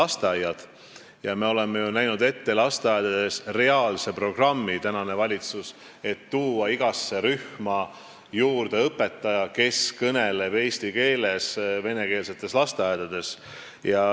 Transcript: Me oleme praeguses valitsuses näinud ette lasteaedades reaalse programmi, millega tuua igasse rühma juurde õpetaja, kes kõneleb eesti keeles venekeelsetes lasteaedades.